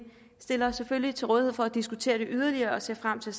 stiller os selvfølgelig til rådighed for at diskutere det yderligere og ser frem til